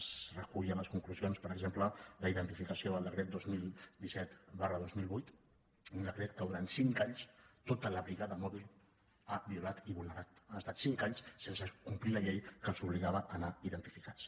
es recull a les conclusions per exemple la identificació del decret dos mil disset dos mil vuit un decret que durant cinc anys tota la brigada mòbil ha violat i vulnerat han estat cinc anys sense complir la llei que els obligava a anar identificats